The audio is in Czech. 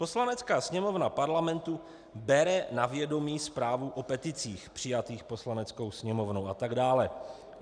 Poslanecká Sněmovna Parlamentu bere na vědomí zprávu o peticích přijatých Poslaneckou sněmovnou a tak dále.